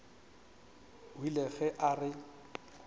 o ile ge a re